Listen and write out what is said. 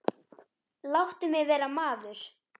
Láttu mig vera maður.